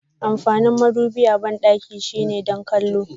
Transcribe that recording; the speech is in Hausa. Amfanin madubi a bandaki shine don kwallo.